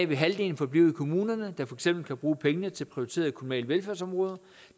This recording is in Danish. vil halvdelen forblive i kommunerne der for eksempel kan bruge pengene til prioriterede kommunale velfærdsområder